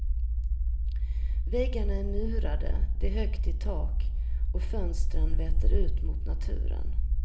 Väggarna är murade, det är högt i tak och fönstren vetter ut mot naturen.